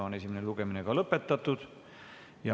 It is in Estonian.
Esimene lugemine on lõpetatud.